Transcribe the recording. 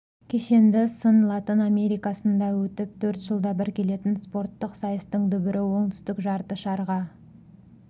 кешенді сын латын америкасында өтіп төрт жылда бір келетін спорттық сайыстың дүбірі оңтүстік жарты шарға